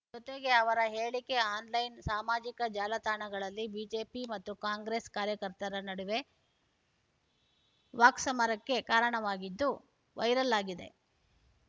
ಜೊತೆಗೆ ಅವರ ಹೇಳಿಕೆ ಆನ್‌ಲೈನ್‌ ಸಾಮಾಜಿಕ ಜಾಲತಾಣಗಳಲ್ಲಿ ಬಿಜೆಪಿ ಮತ್ತು ಕಾಂಗ್ರೆಸ್‌ ಕಾರ್ಯಕರ್ತರ ನಡುವೆ ವಾಕ್ಸಮರಕ್ಕೆ ಕಾರಣವಾಗಿದ್ದು ವೈರಲ್‌ ಆಗಿದೆ